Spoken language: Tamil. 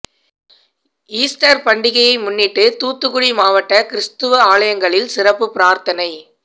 ஈஸ்டர் பண்டிகையை முன்னிட்டு தூத்துக்குடி மாவட்ட கிறிஸ்தவ ஆலயங்களில் சிறப்பு பிரார்த்தனை